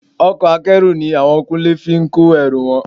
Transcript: Ọkọ̀ Akẹ́rù ni àwọn Kúnlé fi kó ẹrù wọn